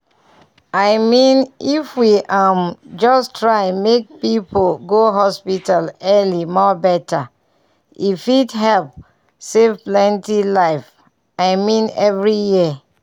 i mean if we um just try make people go hospital early more better e fit help save plenty life i mean every year.